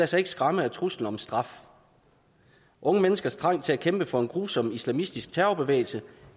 sig skræmme af truslen om straf unge menneskers trang til at kæmpe for en grusom islamistisk terrorbevægelse